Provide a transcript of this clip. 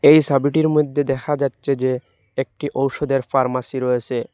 এই সাবিটির মধ্যে দেখা যাচ্ছে যে একটি ঔষধের ফার্মাসি রয়েসে।